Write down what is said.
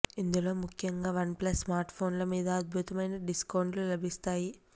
ఇందులో ముఖ్యంగా OnePlus స్మార్ట్ఫోన్ల మీద అద్భుతమైన డిస్కౌంట్లు లభిస్తాయి